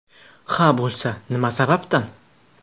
Xa bo‘lsa, nima sababdan?